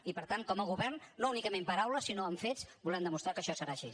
i per tant com a govern no únicament paraules sinó amb fets volem demostrar que això serà així